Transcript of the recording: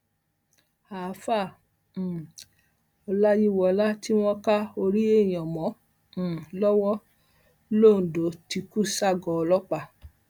àfàá um ọláyíwọlá tí wọn ká orí èèyàn mọ um lọwọ londo ti kú ságọọ ọlọpàá